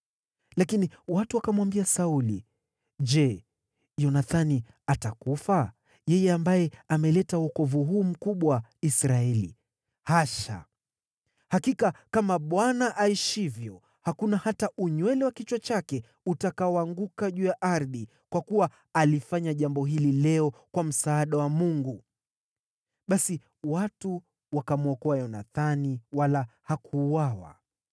Lakini watu wakamwambia Sauli, “Je, Yonathani atakufa, yeye ambaye ameleta wokovu huu mkubwa Israeli? Hasha! Hakika kama Bwana aishivyo, hakuna hata unywele wa kichwa chake utakaoanguka juu ya ardhi, kwa kuwa alifanya jambo hili leo kwa msaada wa Mungu.” Basi watu wakamwokoa Yonathani, wala hakuuawa.